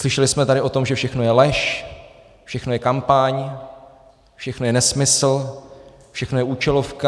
Slyšeli jsme tady o tom, že všechno je lež, všechno je kampaň, všechno je nesmysl, všechno je účelovka.